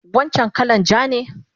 Wancan kalan ja ne?